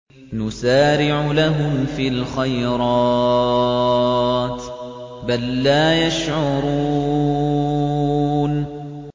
نُسَارِعُ لَهُمْ فِي الْخَيْرَاتِ ۚ بَل لَّا يَشْعُرُونَ